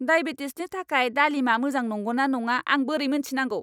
डायबेटिसनि थाखाय दालिमआ मोजां नंगौना नङा आं बोरै मोनथिनांगौ?